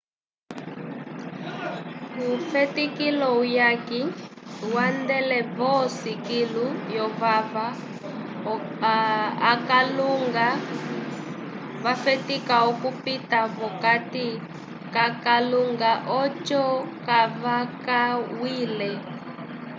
kufetikilo uyaki vandele vosi kilu lyovava akalunga vafetika okupita vokati kakalunga ocho kavakamwile